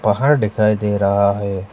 घर दिखाई दे रहा है।